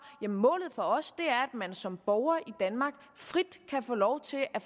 jamen målet for os er man som borger i danmark frit kan få lov til at